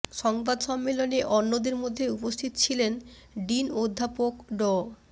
সংবাদ সম্মেলনে অন্যদের মধ্যে উপস্থিত ছিলেন ডিন অধ্যাপক ড